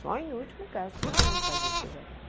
Só em último caso que nós vamos fazer cesariana.